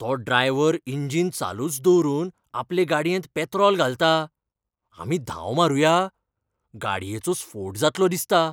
तो driver engine चालूच दवरून आपले गाडयेंत पेत्रोल घालता. आमी धांव मारूया ? गाडयेचो स्फोट जातलो दिसता.